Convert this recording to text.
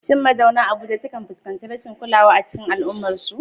Shin mazauna Abuja sukan fuskanci rashin kulawa a cikin al'ummarsu?